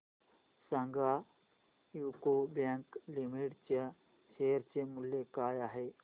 सांगा UCO bank limited च्या share चे मूल्य काय आहे